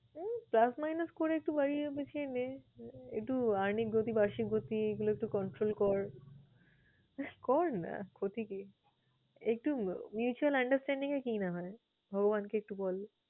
এই plus minus করে একটু বাড়িয়ে গুছিয়ে নে, একটু অর্হ্নিক গতি, বার্ষিক গতি এইগুলো একটু control কর। কর না, ক্ষতি কি? একটু mutual understanding এ কি না হয়? ভগবানকে একটু বল।